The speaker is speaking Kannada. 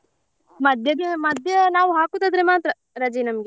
ಮಧ್ಯಗೆ ಮಧ್ಯೆ ನಾವ್ ಹಾಕುದಾದ್ರೆ ಮಾತ್ರ ರಜೆ ನಮ್ಗೆ.